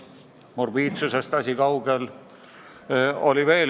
Morbiidsusest on asi kaugel.